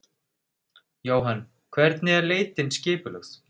Jóhann: Hvernig er leitin skipulögð?